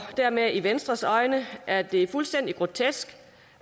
dermed i venstres øjne er det fuldstændig grotesk